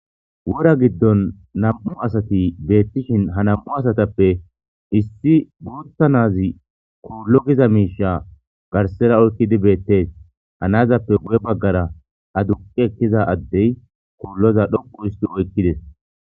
Wora giddon nam,u asati beettishin ha nam,u asatappe issi buutta nazi koollo giza miisha garsera oykkidi beettees hanazappe guye baggara a duqi ekkiza addey koolloza dhoqu isti oykkides.